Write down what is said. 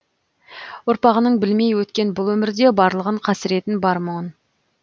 ұрпағының білмей өткен бұл өмірде барлығын қасіретін бар мұның